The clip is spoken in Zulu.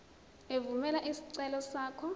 evumela isicelo sakho